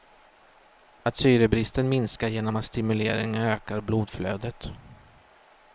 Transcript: Att syrebristen minskar genom att stimuleringen ökar blodflödet.